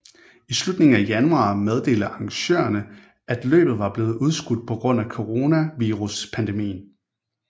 I slutningen af januar meddelte arrangørerne at løbet var blev udskudt på grund af coronaviruspandemien